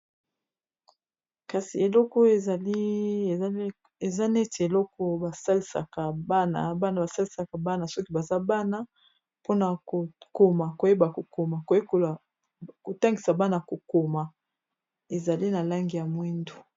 kasi eloko eza neti eloko bana basalisaka bana soki baza bana mpona kokoma koyeba kokoma kotangisa bana kokoma ezali na langi ya mwindo